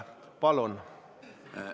Palun!